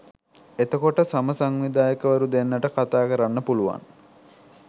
එතකොට සම සංවිධායකවරු දෙන්නට කතා කරන්න පුළුවන්